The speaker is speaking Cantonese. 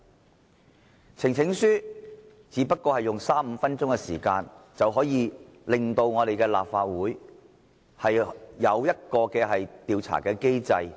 提出呈請書只不過是花三五分鐘時間，便能令立法會成立一個調查機制。